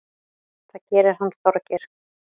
Það gerir hann Þorgeir.